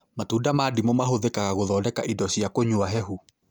Matunda ma ndimũ mahũthĩka gũthondeka indo cia kũnywa hehu